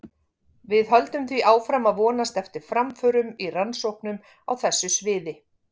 Við höldum því áfram að vonast eftir framförum í rannsóknum á þessu sviði.